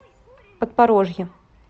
подпорожье